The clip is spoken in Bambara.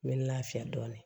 N bɛ n lafiya dɔɔnin